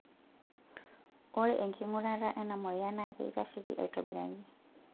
ore enkingurata ena moyian naa keitasheki aitobiraki